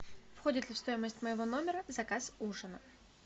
входит ли в стоимость моего номера заказ ужина